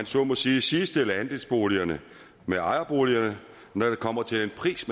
så må sige sidestille andelsboligerne med ejerboligerne når det kommer til den pris